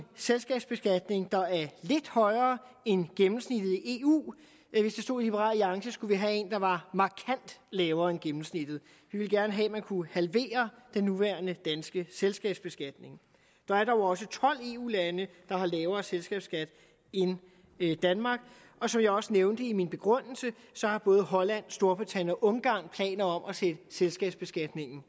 selskabsbeskatning der er lidt højere end gennemsnittet i eu hvis det stod til liberal alliance skulle vi have en der var markant lavere end gennemsnittet vi ville gerne have at man kunne halvere den nuværende danske selskabsbeskatning der er dog også tolv eu lande der har lavere selskabsskat end danmark og som jeg også nævnte i min begrundelse har både holland storbritannien og ungarn planer om at sætte selskabsbeskatningen